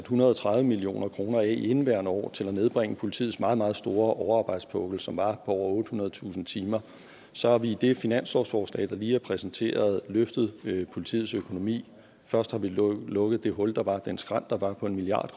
hundrede og tredive million kroner af i indeværende år til at nedbringe politiets meget meget store overarbejdspukkel som var over ottehundredetusind timer og så har vi i det finanslovsforslag der lige er præsenteret løftet politiets økonomi først har vi lukket det hul der var den skrænt der var på en milliard